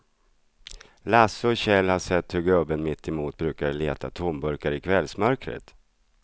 Lasse och Kjell har sett hur gubben mittemot brukar leta tomburkar i kvällsmörkret.